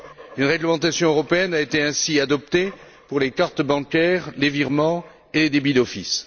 Une réglementation européenne a été ainsi adoptée pour les cartes bancaires, les virements et les débits d'office.